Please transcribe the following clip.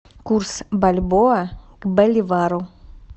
курс бальбоа к боливару